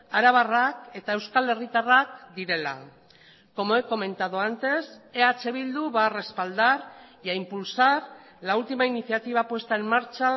arabarrak eta euskal herritarrak direla como he comentado antes eh bildu va a respaldar y a impulsar la última iniciativa puesta en marcha